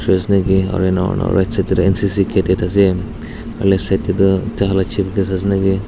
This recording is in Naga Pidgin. aru ena kuri na right side de N_C_C cadet ase aro left side de tu taikhan la chief guest ase naki.